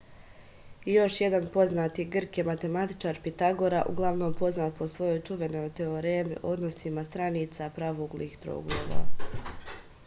još jedan poznati grk je matematičar pitagora uglavnom poznat po svojoj čuvenoj teoremi o odnosima stranica pravouglih trouglova